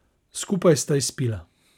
Skupaj sta izpila.